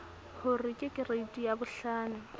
ho re ke kereiti yabohlano